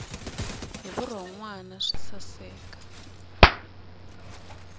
hi vurhon wana swi saseka